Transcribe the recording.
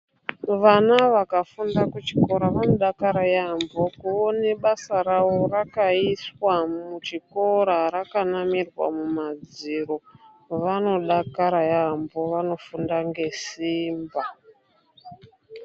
Vana vaka funda ku chikora vano dakara yambo kuone basa ravo rakaiswa mu zvikora raka namirwa mu madziro vano dakara yambo vano funda nge simba.